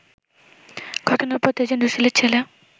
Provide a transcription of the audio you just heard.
ঘটনার পর তেজেন্দ্র শীলের ছেলে